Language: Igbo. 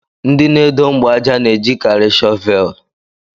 Ndị na-edo mgbaaja n'ejikari shọvel